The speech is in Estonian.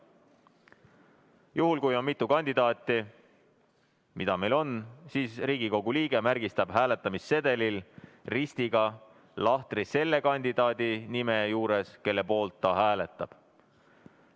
Juhul kui on mitu kandidaati, nagu meil on, märgistab Riigikogu liige hääletamissedelil ristiga lahtri selle kandidaadi nime juures, kelle poolt ta hääletab.